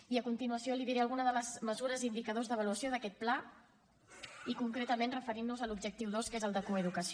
i a continuació li diré algunes de les mesures i indicadors d’avaluació d’aquest pla i concretament referint nos a l’objectiu dos que és el de coeducació